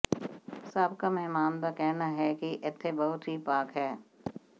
ਸਾਬਕਾ ਮਹਿਮਾਨ ਦਾ ਕਹਿਣਾ ਹੈ ਕਿ ਇੱਥੇ ਬਹੁਤ ਹੀ ਪਾਕ ਹੈ